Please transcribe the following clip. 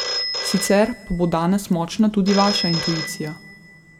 Sicer pa bo danes močna tudi vaša intuicija.